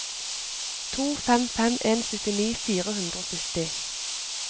to fem fem en syttini fire hundre og sytti